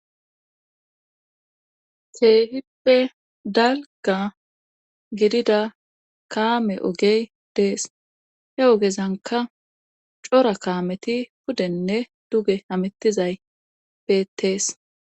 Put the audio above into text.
Keehippe dalga gidida kaame ogey dees he ogezanka cora kaameti pudenne duge amittizay peetees.